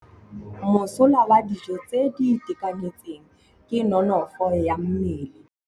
Mosola wa dijô tse di itekanetseng ke nonôfô ya mmele.